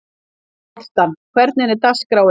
Mortan, hvernig er dagskráin?